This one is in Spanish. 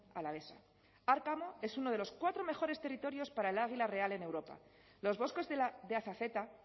alavesa arkamo es uno de los cuatro mejores territorios para el águila real en europa los bosques de azazeta